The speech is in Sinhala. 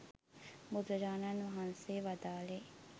බුදුරජාණන් වහන්සේ වදාළේ